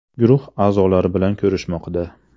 guruhi a’zolari bilan ko‘rishmoqda.